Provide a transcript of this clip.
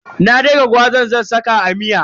Na daka gwazar zan saka a miya.